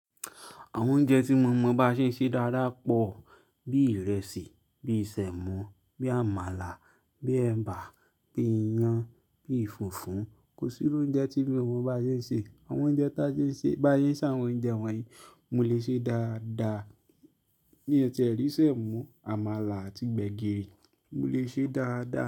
Àwọn oúnjẹ tí mọ̀mọ̀ bá ṣe ṣe dáadáa pọ̀, bí ìrẹsì, bí semo, bí àmàlà, bí ẹ̀bà, bí iyan, bí fúfú. Kò sí irú oúnjẹ tí mí o mọ bá ṣé sè, àwọn oúnjẹ bá ṣé sè àwọn oúnjẹ wọ̀nyí, mọ lè ṣe é dáadáa. Bí i ẹ̀ tí ẹ̀ rí semo, àmàlà àti gbẹ̀gìrì, mo lè ṣe é dáadáa.